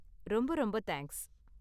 ரொம்ப ரொம்ப தேங்க்ஸ்.